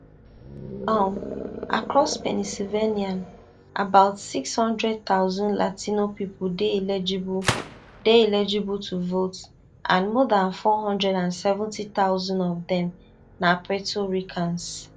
um across pennsylvania about six hundred thousand latino pipo dey eligible dey eligible to vote and more dan four hundred and seventy thousand of dem na puerto ricans